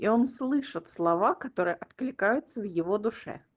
он слышит слова которые откликаются в его душе